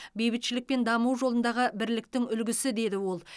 бейбітшілік пен даму жолындағы бірліктің үлгісі деді ол